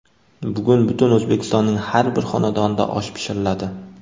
Bugun butun O‘zbekistonning har bir xonadonida osh pishiriladi.